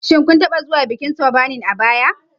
Shin kun taɓa zuwa bikin Turbarning a baya?